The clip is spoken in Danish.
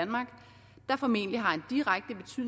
er formentlig